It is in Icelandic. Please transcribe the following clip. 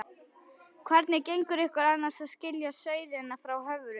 Hvernig gengur ykkur annars að skilja sauðina frá höfrunum?